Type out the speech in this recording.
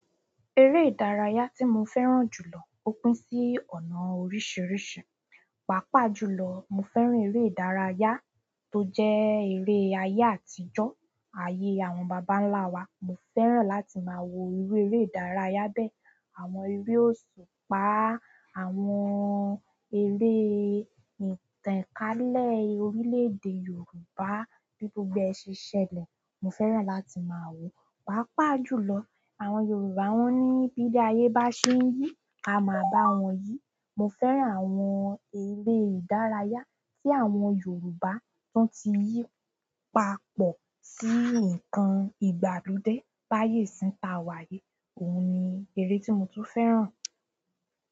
Ere ìdárayá ti mo fẹ́ràn jùlọ, o pín si ọ̀nà oríṣiríṣi pàápàá jùlọ, mo fẹ́ràn eré ìdárayá tó jẹ́ eré ayé àtijọ́, ayé àwọn bàbá ńlá wa. Mo fẹ́ràn láti maa wo iru ere ìdárayá bẹ́ẹ̀, àwọn ere osupa, àwọn ere ìtànkálẹ̀ orílẹ̀ èdè Yorùbá bí gbogbo ẹ ṣe ṣẹlẹ̀, mo fẹ́ràn láti máa wò ó. Pàápàá jùlọ, àwọn Yorùbá wón ní "bí ilé ayé bá ṣe ń yí, ka máa bá wọn yí". Mo fẹ́ràn àwọn eré ìdárayá tí àwọn Yorùbá tún ti yí papọ̀ sí nǹkan ìgbàlódé. Báyé isín ta wá yìí, òhun ni eré tí mo tún fẹ́ràn.